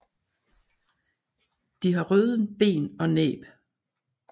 De har alle røde ben og næb